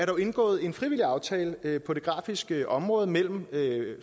jo indgået en frivillig aftale på det grafiske område mellem